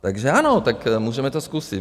Takže ano, tak můžeme to zkusit.